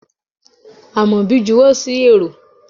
Amobi juwo sí érò